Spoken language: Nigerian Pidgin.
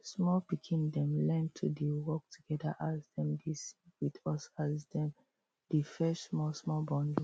small pikin dem learn to dey work together as dem dey sing with us as dem dey fetch small small bundles